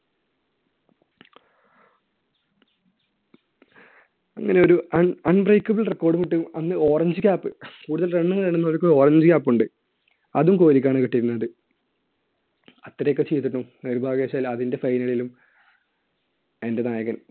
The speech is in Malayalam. അങ്ങനെ ഒരു un~ unbreakable record ഉം ഇട്ട്, അന്ന് orange cap കൂടുതൽ run നേടുന്നവർക്ക് orange cap ഉണ്ട്. അതും കോഹ്‌ലിക്കാണ് കിട്ടിയിരുന്നത്. ഇത്രയൊക്കെ ചെയ്തിട്ടും നിർഭാഗ്യവശാൽ അതിന്‍റെ final ലും അതിന്‍റെ നായകൻ